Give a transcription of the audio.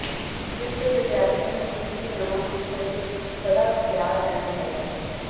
ਇਸ ਲਈ ਵਿਦਿਆਰਥੀਆਂ ਨੂੰ ਕੁਝ ਨਵਾਂ ਸਿੱਖਣ ਲਈ ਸਦਾ ਤਿਆਰ ਰਹਿਣਾ ਚਾਹੀਦਾ ਹੈ